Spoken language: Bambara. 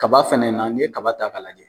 Kaba fɛnɛ na n'i ye kaba ta k'a lajɛ